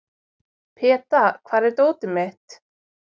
Peta, hvar er dótið mitt?